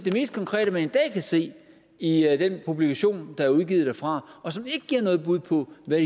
mest konkrete man i dag kan se i den publikation der er udgivet derfra og som ikke giver noget bud på hvad